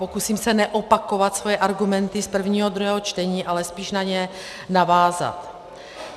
Pokusím se neopakovat svoje argumenty z prvního a druhého čtení, ale spíše na ně navázat.